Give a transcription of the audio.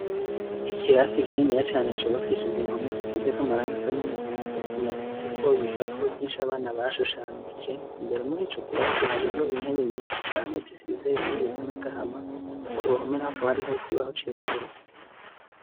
Ikirasi kininiya cubakishije impome zisizekw'amarangi asa n'umuhondo , kimaditseho ibipapuro vyinshi abana bashushanije , imbere murico kirasi hariyo intebe nyishi cane zisize irangi risa n'agahama , kuruhome naho hakaba hari intebe nyishi cane zisize irangi risa n'agahama, kuruhome naho hakaba hariho ikibaho cirabura.